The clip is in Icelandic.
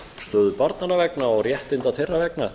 stöðu barnanna vegna og réttinda þeirra vegna